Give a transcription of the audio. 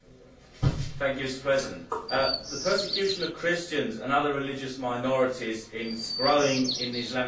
Mr President, the persecution of Christians and other religious minorities is growing in Islamic countries.